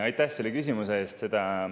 Aitäh selle küsimuse eest!